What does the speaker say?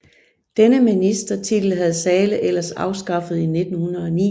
Denne ministertitel havde Zahle ellers afskaffet i 1909